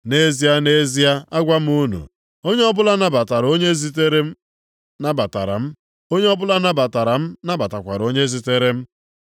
Nʼezie, nʼezie, agwa m unu, onye ọbụla nabatara onye m zitere nabatara m. Onye ọbụla nabatara m nabatakwara onye zitere m.”